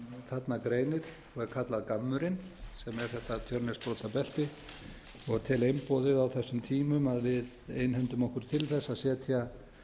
þarna greinir og er kallað gammurinn sem er þetta tjörnesbrotabelti og tel einboðið á þessum tímum að við einhendum okkur til þess að setja